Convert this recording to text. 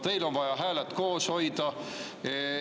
Teil on vaja hääled koos hoida.